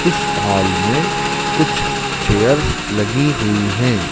इस हॉल में कुछ चेयर्स लगी हुई है।